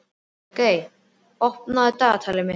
Björgey, opnaðu dagatalið mitt.